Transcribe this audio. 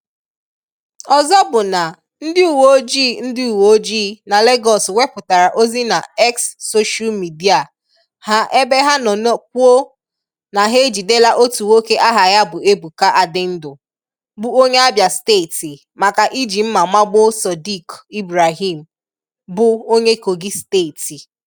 Ọzọ bụ na, ndị uwe ojii ndị uwe ojii na Legọs wepụtara ozi na X soshal midịa ha ebe ha nọ kwuo na "ha ejidela otu nwoke aha ya bụ Ebuka Adịndu, bụ onye Abịa steeti maka iji mma magbuo Sodiq Ibrahim, bụ onye Kogi steeti".